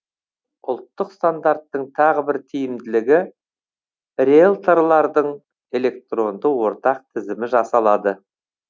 ұлттық стандарттың тағы бір тиімділігі риелторлардың электронды ортақ тізімі жасалады